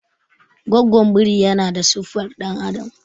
gwagwon biri yana da siffar dan'adam